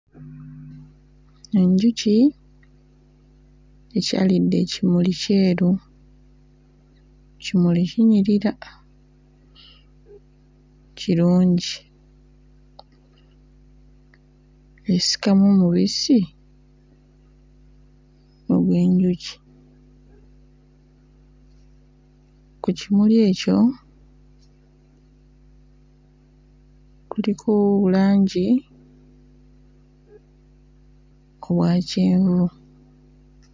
Enjuki ekyalidde ekimuli kyeru, kimuli kinyirira kirungi. Esikamu mubisi ogw'enjuki. Ku kimuli ekyo kuliko bulangi obwakyenvu.